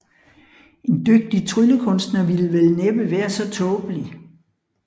En dygtig tryllekunstner ville vel næppe være så tåbelig